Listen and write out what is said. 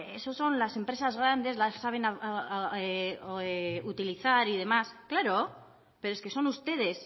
esos son las empresas grandes que las saben utilizar y demás claro pero es que son ustedes